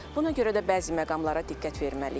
Buna görə də bəzi məqamlara diqqət verməliyik.